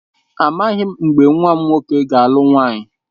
Amaghị m mgbe nwa m nwoke ga-alụ nwaanyị.